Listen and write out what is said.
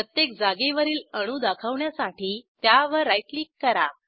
प्रत्येक जागेवरील अणू दाखवण्यासाठी त्यावर राईट क्लिक करा